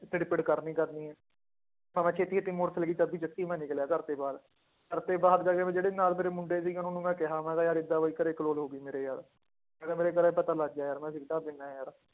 ਖਿੱੜ ਪਿੜ ਕਰਨੀ ਕਰਨੀ ਹੈ ਮੈਂ ਨਿਕਲਿਆ ਘਰਦੇ ਬਾਹਰ, ਘਰਦੇ ਬਾਹਰ ਜਾ ਕੇ ਫਿਰ ਜਿਹੜੇ ਨਾਲ ਮੇਰੇ ਮੁੰਡੇ ਸੀਗੇ ਉਹਨਾਂ ਨੂੰ ਮੈਂ ਕਿਹਾ ਮੈਂ ਕਿਹਾ ਯਾਰ ਏਦਾਂ ਵੀ ਘਰੇ ਕਲੋਲ ਹੋ ਗਈ ਮੇਰੇ ਯਾਰ ਮੈਂ ਕਿਹਾ ਮੇਰੇ ਘਰੇ ਪਤਾ ਲੱਗ ਗਿਆ ਯਾਰ ਮੈਂ ਸਿਗਰਟਾਂ ਪੀਂਦਾ ਹੈ ਯਾਰ